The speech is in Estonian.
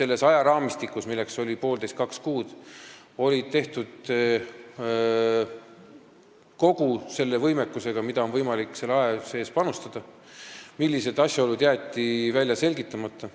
selles ajaraamistikus, milleks oli 1,5–2 kuud, tehtud kogu selle võimekusega, mida oli võimalik selle aja sees panustada ning millised asjaolud jäeti välja selgitamata.